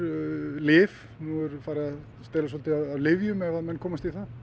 lyf nú er farið að stela svolítið af lyfjum ef að menn komast í það